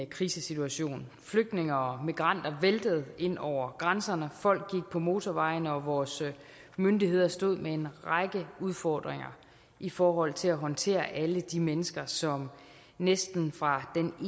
krisesituation flygtninge og migranter væltede ind over grænserne folk gik på motorvejene og vores myndigheder stod med en række udfordringer i forhold til at håndtere alle de mennesker som næsten fra den